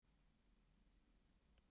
Ég hlýt að geta það.